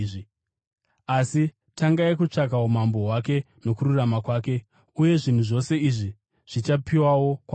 Asi tangai kutsvaka umambo hwake nokururama kwake, uye zvinhu zvose izvi zvichapiwawo kwamuri.